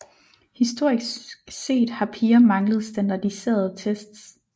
Historisk set har piger manglet standardiserede tests